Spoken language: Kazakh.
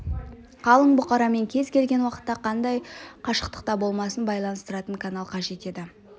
қалың бұқарамен кез келген уақытта қандай қашықтықта болмасын байланыстыратын канал қажет еді